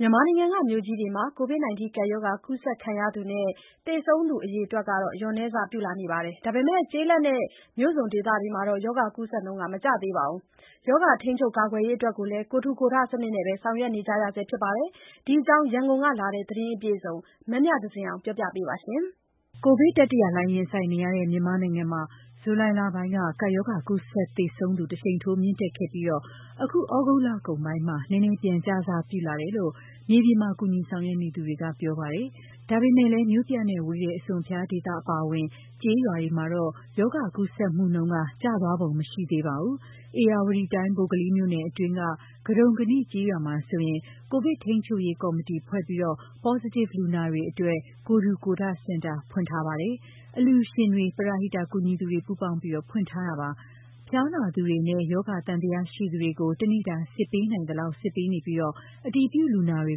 မြန်မာနိုင်ငံက မြို့ကြီးတွေမှာ ကိုဗစ်ကပ်ရောဂါ ကူးစက်ခံရသူနဲ့ သေဆုံးသူအရေအတွက် လျော့နည်းစ ပြုလာပုံရပေမယ့် ကျေးလက်နဲ့ မြို့စွန်ဒေသတွေမှာတော့ ရောဂါကူးစက်နှုန်း မကျသေးပါဘူး။ ရောဂါထိန်းချုပ်ကာကွယ်ရေးကိုလည်း ကိုယ် ထူ ကိုယ်ထစနစ်နဲ့ ဆောင်ရွက်နေကြရဆဲဖြစ်ပါတယ်။ ဒီအကြောင်း ရန်ကုန်ကလာတဲ့သတင်းအပြည့်အစုံကို မမြသဇင်အောင်က တင်ပြပေးထားပါတယ်။ ကိုဗစ်တတိယလှိုင်းရင်ဆိုင်နေရတဲ့ မြန်မာနိုင်ငံမှာ ဇူလိုင်လပိုင်းက ကပ်ရောဂါ ကူးစက် သေဆုံးသူ တရှိန်ထိုး မြင့်တက်ခဲ့ပြီး အခုသြဂုတ်လကုန်ပိုင်းမှာ နည်းနည်းပြန် ကျစပြုလာတယ်လို့မြေပြင်မှာ ကူညီဆောင်ရွက်နေသူတွေက ပြောပါတယ်။ ဒါပေမယ့်လည်း မြို့ပြနဲ့ဝေးတဲ့ အစွန်အဖျားဒေသတွေအပါအဝင် ကျေးရွာတွေမှာတော့ ရောဂါကူးစက်မှုနှုန်းက ကျသွားပုံ မရသေးပါဘူး။ဧရာဝတီတိုင်း၊ ဗိုလ်ကလေးမြို့နယ်အတွင်းက ကဒုံကနိကျေးရွာမှာဆိုရင် ကိုဗစ်ထိန်းချုပ်ရေးကော်မတီဖွဲ့ပြီး Positive လူနာတွေအတွက် ကိုယ်ထူကိုယ်ထ စင်တာဖွင့်ထားပါတယ်။ အလှူရှင်တွေ ပရဟိတကူညီသူတွေပေါင်းပြီး ဖွင့်ထားတာပါ။ ဖျားနာသူတွေနဲ့ ရောဂါသံသယရှိသူတွေကို တနေ့တာစစ်ပေးနိုင်သလောက် စစ်ဆေးပေးနေပြီး အတည်ပြုလူနာတွေ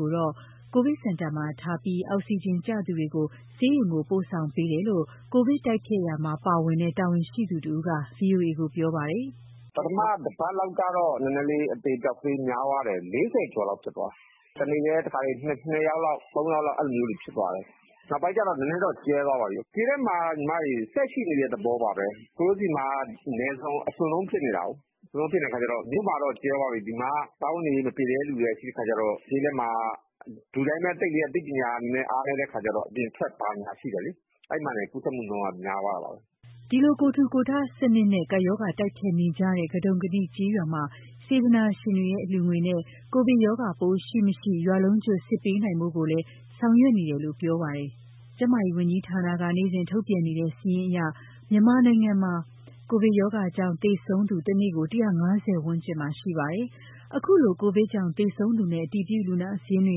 ကိုတော့ ကိုဗစ်စင်တာမှာထားရှိပြီး အောက်စီဂျင်ကျသူတွေကိုတော့ ဆေးရုံကိုပို့ဆောင်ပေးတယ်လို့ ကိုဗစ်တိုက်ဖျက်ရာမှာ ပါဝင်တဲ့တာဝန်ရှိသူတဦးက ဗွီအိုအေကိုပြောပါတယ်။ "ပထမတပတ်လောက်ကတော့ နည်းနည်းလေး အသေအပျောက်များသွားတယ်။ ၄၀ ကျော်လောက် ဖြစ်သွားတယ်။ တနေ့တည်းကို တခါတလေ ၂ ယောက်၊ ၃ ယောက်လောက် ဖြစ်သွားတယ်။ နောက်ပိုင်းကျတော့ နည်းနည်းတော့ကျဲသွားပါပြီ။ ကိုဗစ်က ကျေးလက်မှာက ဆက်ရှိနေတဲ့သဘောပါပဲ။ ဒီမှာက နယ်စွန် အစွန် ဆုံးဖြစ်နေတဲ့အခါကျတော့ မြို့မှာကတော့ ကျဲသွားပြီ။ ဒီမှာက စားဝတ်နေရေး မပြေလည်တဲ့သူတွေရှိတဲ့အခါကျတော့ ကျေးလက်မှာက လူတွေကလည်း အသိပညာအားနည်းတဲ့အခါကျတော့ အပြင်ထွက်ဘာညာရှိတယ်လေ။ အဲဒီမှာတင် ကူးစက် မှုနှုန်းက များသွားတာပါပဲ။" ဒီလို ကိုယ်ထူကိုယ်ထစနစ်နဲ့ ကပ်ရောဂါတိုက်ဖျက်နေကြတဲ့ ကဒုံကနိကျေးရွာမှာ စေတနာရှင်တွေရဲ့ အလှူငွေနဲ့ ကိုဗစ်ရောဂါပိုးရှိ၊ မရှိ ရွာလုံးကျွတ်စစ်ပေးနိုင်ဖို့ကိုလည်း ဆောင်ရွက်နေတယ်လို့ ပြောပါတယ်။ ကျန်းမာရေးဝန်ကြီးဌာနက နေ့စဉ်ထုတ်ပြန်နေတဲ့စာရင်းအရ မြန်မာတနိုင်ငံလုံးမှာ ကိုဗစ်ကပ်ရောဂါကြောင့် သေဆုံးသူ တနေ့ကို၁၅၀ ဝန်းကျင်မှာ ရှိနေပါတယ်။ခုလို ကိုဗစ်ကြောင့် သေဆုံးသူနဲ့ အတည်ပြုလူနာ စာရင်းတွေ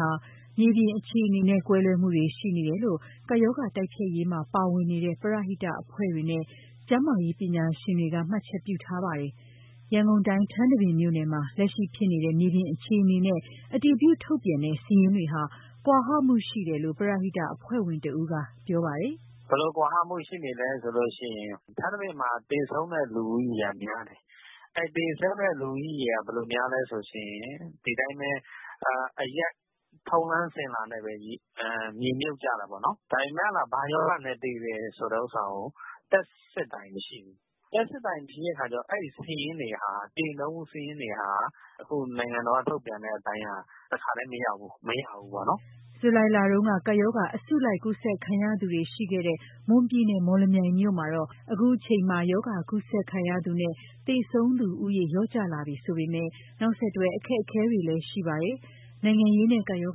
ဟာ မြေပြင်အခြေအနေနဲ့ ကွဲလွဲမှုတွေရှိနေတယ်လို့ ကပ်ရောဂါတိုက်ဖျက်ရေးမှာ ပါဝင်နေတဲ့ ပရဟိတအဖွဲ့တွေနဲ့ ကျန်းမာရေးပညာရှင်တွေက မှတ်ချက်ပြုထားပါတယ်။ ရန်ကုန်တိုင်း၊ ထန်းတပင်မြို့နယ်မှာ လက်ရှိဖြစ်နေတဲ့မြေပြင်အခြေအနေနဲ့ အတည်ပြုထုတ်ပြန်တဲ့စာရင်းတွေဟာ ကွာဟမှုရှိနေတယ်လို့ ပရဟိတအဖွဲ့ဝင်တဦးက ပြောပါတယ်။ "ဘယ်လိုကွာဟမှုရှိနေလဲဆိုရင် ထန်းတပင်မှာ သေဆုံးတဲ့လူဦးရေက များတယ်။ အဲဒီသေဆုံးတဲ့လူဦးရေက ဘယ်လိုများလဲဆိုရင် ဒီတိုင်းပဲ အရပ်ထုံးတမ်းစဉ်လာနဲ့ပဲ မြေမြှုပ်ကြတာပေါ့နော်။ ဒါပေမယ့် အဲဒါဘာရောဂါနဲ့ သေတယ်ဆိုတာကို Test စစ်တာမရှိဘူး။ Test စစ်တာမရှိတဲ့အခါကျတော့ အဲဒီသေနှုန်းစာရင်းတွေဟာ အခုနိုင်ငံတော်က ထုတ်ပြန်တဲ့အပိုင်းက တခါတည်းမရောက်ဘူးပေါ့နော်။" ဇူလိုင်လတုန်းက ကပ်ရောဂါအစုလိုက်ကူးစက်ခံရသူတွေ ရှိခဲ့တဲ့ မွန်ပြည်နယ်၊ မော်လမြိုင်မြို့မှာတော့ အခုချိန်မှာ ရောဂါကူးစက်ခံရသူနဲ့ သေဆုံးသူလျော့ကျလာပြီဆိုပေမယ့် နောက်ဆက်တွဲအခက်အခဲတွေ ရှိနေပါတယ်။ နိုင်ငံရေးနဲ့ ကပ်ရော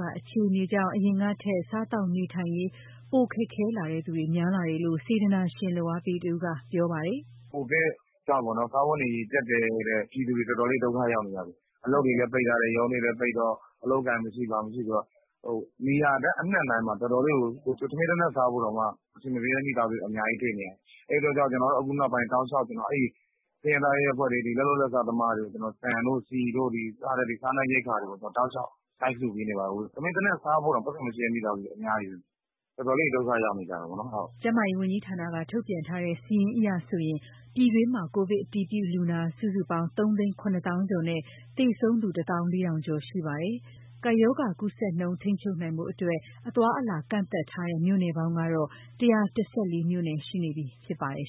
ဂါအခြေအနေကြောင့် အရင်ကထက် စားသောက်နေထိုင်ရေး ပိုခက်ခဲလာသူတွေများလာတယ်လို့ စေတနာရှင် လုပ်အားပေးတဦးက ပြောပါတယ်။ "ကိုဗစ်ကြောင့်ပေါ့နော် စားဝတ်နေရေးကြပ်တည်းပြီး ပြည်သူတွေတော်တော်လေး ဒုက္ခရောက်နေကြပြီ။ အလုပ်တွေလည်း ပိတ်ထားတယ်၊ ရုံးတွေလည်းပိတ်တော့ အလုပ်အကိုင်မရှိ ဘာမရှိဆိုတော့နေရာတိုင်းမှာ တချို့ဆို တော်တော်လေးကို ထမင်းတနပ်စားရဖို့တောင်မှ အဆင်မပြေတဲ့မိသားစုတွေ အများကြီးတွေ့နေရတယ်။ အဲအတွက်ကြောင့် ကျနော်တို့ အခုနောက်ပိုင်း တောက်လျှောက် ဆင်းရဲသားရပ်ကွက်တွေ၊ လက်လုပ်လက်စားသမားတွေကို ဆန်၊ ဆီ စတဲ့ စားနပ်ရိက္ခာတွေကို လိုက်လှူပေးနေပါတယ်။ ထမင်းတနပ်စားရဖို့တောင် ပိုက်ဆံမရှိတဲ့မိသားစုတွေ အများကြီးပဲ။ တော်တော်လေးကို ဒုက္ခရောက်နေကြတာပေါ့နော်။" ကျန်းမာရေးဝန်ကြီးဌာနက ထုတ်ပြန်ထားတဲ့စာရင်းအရဆို ပြည်တွင်းမှာ ကိုဗစ်အတည်ပြုလူနာ စုစုပေါင်း ၃၇၀,၀၀၀ ကျော်နဲ့ သေဆုံးသူ ၁၄,၀၀၀ ကျော် ရှိပါတယ်။ ကပ်ရောဂါကူးစက်နှုန်း ထိန်းချုပ်နိုင်ဖို့အတွက် အသွားအလာကန့်သတ်ထားတဲ့ မြို့နယ်ပေါင်းကတော့ ၁၁၄ မြို့နယ်ရှိပြီ ဖြစ်ပါတယ်